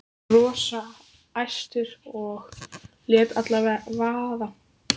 Hann var rosa æstur og lét allt vaða.